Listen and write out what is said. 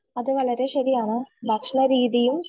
അത് വളരെ ശരിയാണ് ഭക്ഷണ രീതിയും